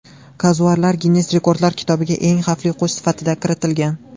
Kazuarlar Ginnes rekordlar kitobiga eng xavfli qush sifatida kiritilgan.